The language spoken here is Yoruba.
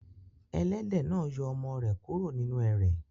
Ẹlẹ́dẹ̀ náà yọ ọmọ rẹ̀ kúrò nínú ẹrẹ̀.